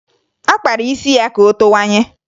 Ọ kpara isi ya ka o towanye